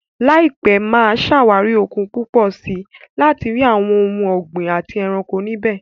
Láìpẹ́, mà á ṣàwárí òkun púpọ̀ sí i láti rí àwọn ohun ọ̀gbìn àti ẹranko níbẹ̀.